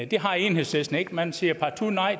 det har enhedslisten ikke man siger partout nej